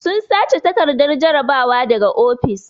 Sun sace takardar jarabawa daga ofis.